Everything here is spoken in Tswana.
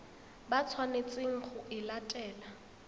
ba tshwanetseng go e latela